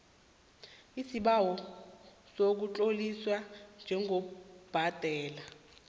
isibawo sokutloliswa njengobhadela